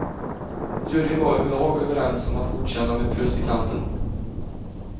Juryn var överlag överens om att godkänna med plus i kanten.